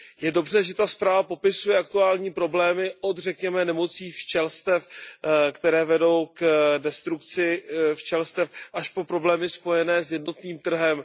Je dobře, že ta zpráva popisuje aktuální problémy od řekněme nemocí včelstev, které vedou k destrukci včelstev, až po problémy spojené s jednotným trhem.